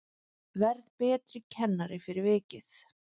Verð betri kennari fyrir vikið